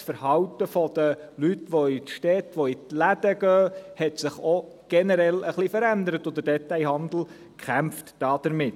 Auch hat sich das Verhalten der Leute, die in die Städte, in die Läden gehen, generell ein wenig verändert, und der Detailhandel kämpft damit.